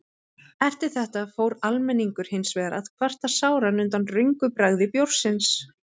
Eftir þetta fór almenningur hins vegar að kvarta sáran undan röngu bragði bjórsins.